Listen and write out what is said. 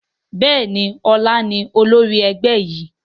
Bẹ́ẹ̀ni, ọlá ni olórí ẹgbẹ́ yìí.